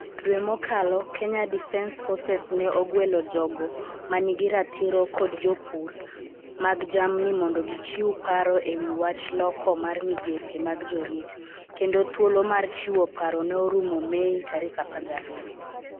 Dwe mokalo, Kenya Defence Forces ne ogwelo jogo ma nigi ratiro kod jopur mag jamni mondo gichiw paro e wi wach loko mar migepe mag jorit, kendo thuolo mar chiwo paro ne orumo Mei 12.